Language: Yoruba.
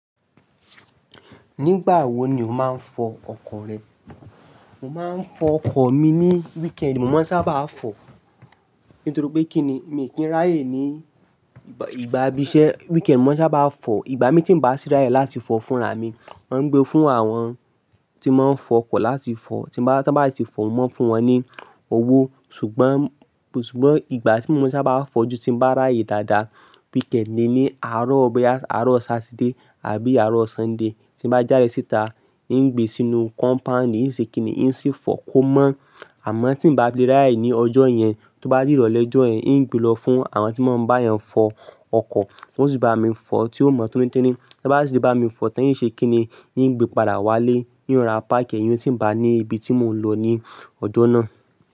Nígbà wo ni o máa ń fọ ọkọ̀ rẹ? Mo máa ń fọ ọkọ̀ mi ní weekend. Mo máa ń sábà fọ nítorí pé kí ni mi kì í ráyè ní ìgbà ibi iṣẹ́. Weekend mo maa n sábà fọ, ìgbà miran tí n bá sì ráyè láti fọ fúnra mi. Mo ń gbé fún àwọn tí wón máa ń fọ ọkọ̀ láti fọ, tí wọ́n bá sì fọ, mo maa n fún wọn ní owó. Ṣùgbọ́n, ṣùgbọ́n ìgbà tí mo sábà fọ ju tí bá ráyè dáadáa weekend ni ní àárọ̀ bí i àárọ̀ Saturday àbí àárọ̀ Sunday tí bá jáde síta. N gbé sínú compound n oo ṣe kì í níyìí sì fọ kó mọ́. Àmọ́ tí n bá le rii aye ní ọjọ́ yẹn, tó bá dii irole ojọ́ yẹn, n gbe lọ fún àwọn tí wọ́n bá eniyan fọo ọkọ̀. Won osì bá mi fọ tí ó mọ́o tónítínì. Bá sì bá mi fọ, tán yìí ṣe kì í níyìí gbe padà wálé. N yóò ra páàkì ẹyín tí n bá ní ibi tí mò ń lọ ní ọjọ́ náà.